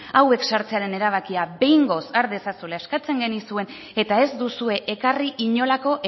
hauek sartzearen erabakia behingoz har dezazuela eskatzen genizuen eta ez duzue ekarri inolako